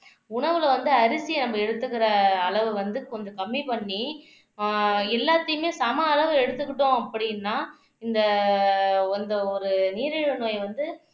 உணவுல வந்து அரிசியை நம்ம எடுத்துக்கிற அளவு வந்து கொஞ்சம் கம்மி பண்ணி ஆஹ் எல்லாத்தையுமே சம அளவு எடுத்துக்கிட்டோம் அப்படின்னா இந்த வந்த ஒரு நீரிழிவு நோய் வந்து